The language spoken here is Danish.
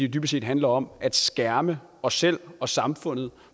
dybest set handler om at skærme os selv og samfundet